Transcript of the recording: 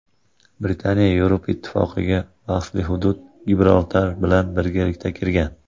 Britaniya Yevropa Ittifoqiga bahsli hudud Gibraltar bilan birgalikda kirgan.